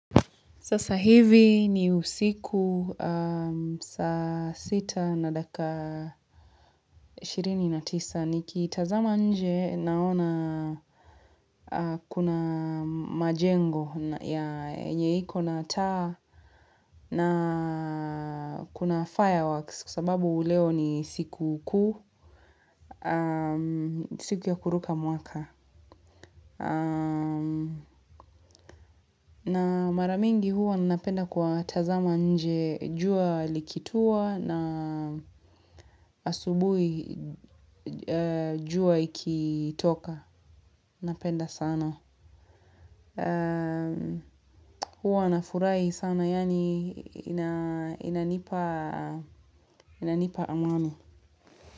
Sasa hivi ni usiku saa sita na dakika ishirini na tisa nikitazama nje naona kuna majengo ya yenye iko na taa na kuna fireworks kwa sababu leo ni sikukuu siku ya kuruka mwaka. Na mara mingi huwa napenda kutazama nje jua likitua na asubuhi jua ikitoka. Napenda sana. Huwa nafurahi sana yani inanipa amani.